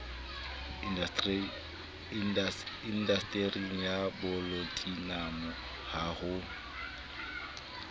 indastering ya polatinamo ha ho